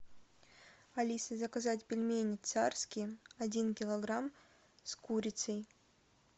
алиса заказать пельмени царские один килограмм с курицей